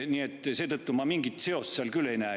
Nii et seetõttu ma mingit seost seal küll ei näe.